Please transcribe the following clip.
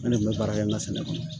Ne de kun bɛ baara kɛ n ka sɛnɛ kɔnɔ